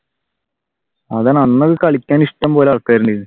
അതാണ് അന്ന് കളിക്കാൻ ഇഷ്ടംപോലെ ആൾകാർ